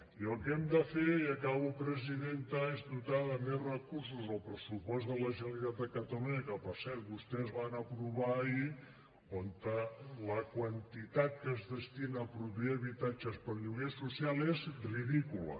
i el que hem de fer i acabo presidenta és dotar de més recursos el pressupost de la generalitat de catalunya que per cert vostès van aprovar ahir on la quantitat que es destina a produir habitatges per a lloguer social és ridícula